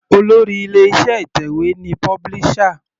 Olórí ilé iṣẹ́ ìtẹ̀wé ni publisher.